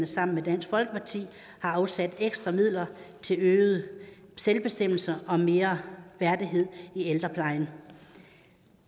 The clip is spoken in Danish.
sammen med dansk folkeparti har afsat ekstra midler til øget selvbestemmelse og mere værdighed i ældreplejen